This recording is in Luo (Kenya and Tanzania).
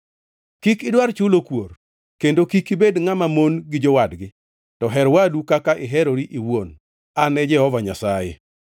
“ ‘Kik idwar chulo kuor, kendo kik ibed ngʼama mon gi jowadgi, to her wadu kaka iherori iwuon. An e Jehova Nyasaye.